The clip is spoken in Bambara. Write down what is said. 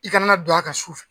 I kana na don a kan sufɛ.